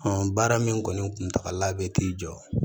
baara min kɔni kuntagala bɛ t'i jɔ